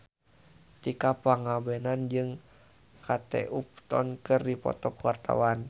Tika Pangabean jeung Kate Upton keur dipoto ku wartawan